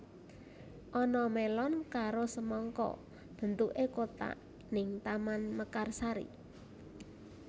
Ana melon karo semangka bentuke kotak ning Taman Mekarsari